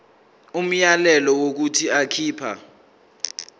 umyalelo wokuthi akhipha